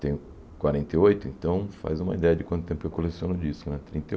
Tenho quarenta e oito, então faz uma ideia de quanto tempo eu coleciono disco, né? Trinta e